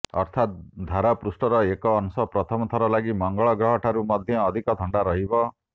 ଅର୍ଥାତ ଧରାପୃଷ୍ଠର ଏକ ଅଂଶ ପ୍ରଥମ ଥର ଲାଗି ମଙ୍ଗଳଗ୍ରହ ଠାରୁ ମଧ୍ୟ ଅଧିକ ଥଣ୍ଡା ରହିବ